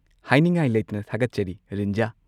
ꯍꯥꯏꯅꯤꯡꯉꯥꯏ ꯂꯩꯇꯅ ꯊꯥꯒꯠꯆꯔꯤ ꯔꯤꯟꯖꯥ꯫